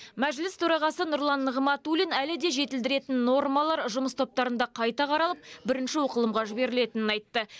мәжіліс төрағасы нұрлан нығматулин әлі де жетілдіретін нормалар жұмыс топтарында қайта қаралып бірінші оқылымға жіберілетінін айтты